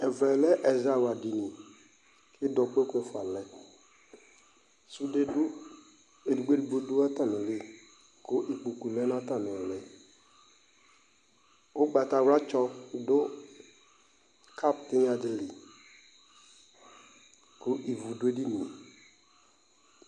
Ɛvɛ lɛ ɛzawla dini Idɔ kpoku ɛfua lɛ Sude dʋ ɛdigbo ɛdigbo dʋ atami li kʋ ikpokʋ lɛ nʋ atami ili Ʋgbatawla tsɔ dʋ kapʋ tinya di li, kʋ ivʋ dʋ edini e